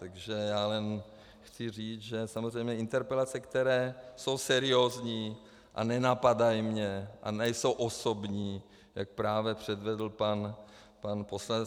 Takže já jen chci říct, že samozřejmě interpelace, které jsou seriózní a nenapadají mě a nejsou osobní, jak právě předvedl pan poslanec.